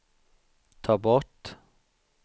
ta bort